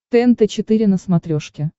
тнт четыре на смотрешке